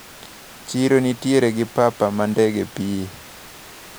Chiro nitiere gi papa ma ndege pie.